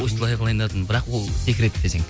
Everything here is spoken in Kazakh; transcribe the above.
осылай қылайын деватырмын бірақ ол секрет десең